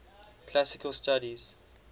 classical studies